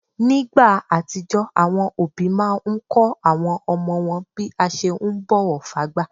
Nígbà àtijó, àwọn òbí máa n kọ́ àwọn ọmọ wọn bí a ṣe ún bọ̀wọ̀ fágbà